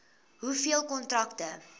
hoeveel kontrakte